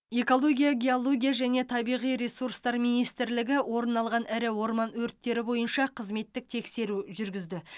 экология геология және табиғи ресурстар министрлігі орын алған ірі орман өрттері бойынша қызметтік тексеру жүргізді